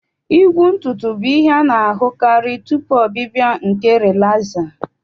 Igwu ntutu bụ ihe a na-ahụkarị tupu ọbịbịa nke rịlaza